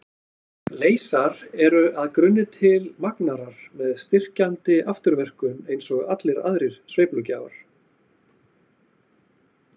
Leysar eru að grunni til magnarar með styrkjandi afturverkun eins og allir aðrir sveiflugjafar.